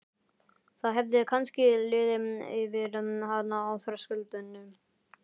Það hefði kannski liðið yfir hana á þröskuldinum.